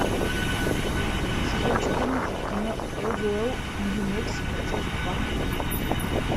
сезон четырнадцать кино розуэлл нью мексико часть два